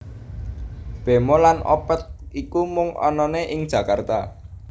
Bemo lan Opet iku mung anane ing Jakarta